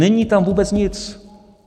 Není tam vůbec nic.